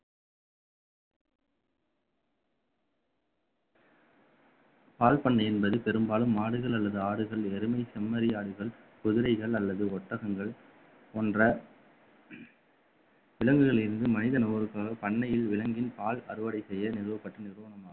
பால் பண்ணை என்பது பெரும்பாலும் மாடுகள் அல்லது ஆடுகள் எருமை செம்மறியாடுகள் குதிரைகள் அல்லது ஒட்டகங்கள் போன்ற விலங்குகள் இருந்து மனித நபருக்காக பண்ணையில் விலங்கின் பால் அறுவடை செய்ய நிறுவப்பட்ட நிறுவனமாகும்